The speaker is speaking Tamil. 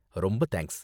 ரொம்ப தேங்க்ஸ்.